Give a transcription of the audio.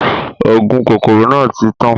Ògùn kòkòrò náà tí tán.